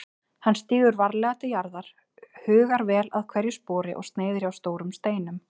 Hann stígur varlega til jarðar, hugar vel að hverju spori og sneiðir hjá stórum steinum.